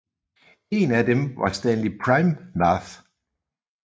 En af dem var Stanley Praimnath